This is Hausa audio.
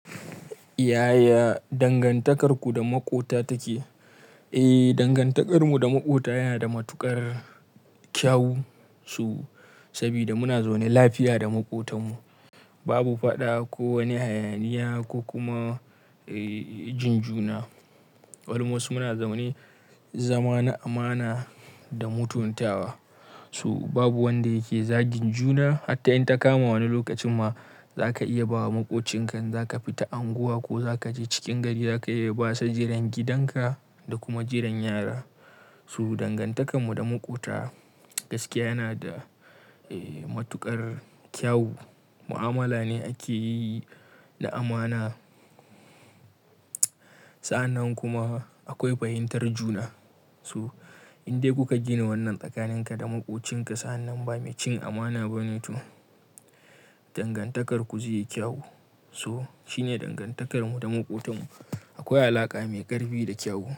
Yaya dangantakarku da maƙota take? Eh, dangantakarmu da maƙota yana da matuƙar kyau. Saboda muna zaune lafiya da maƙotanmu, babu faɗa ko wani hayaniya ko kuma jinjuna. Albamasa muna zaune zaman amana da mutuntawa. So babu wanda yake zagin juna. Hatta in ta kama wani lokacin ma zaka iya bawa maƙocinka, zaka fita anguwa ko zaka je cikin gari zaka iya basa jiran gidanka da kuma jiran yara. So dangantakarmu da maƙota gaskiya yana da matuƙar kyawu. Mu'amala ne ake yi da amana. Sa'annan kuma akwai fahimtar juna. So in dai kuka gina wannan tsakaninka da maƙocinka, sa'annan ba mai cin amana ba ne to dangantakarku zai yi kyawu. So shine dangantakarmu da maƙotanmu. Akwai alaƙa mai ƙarfi da kyawu.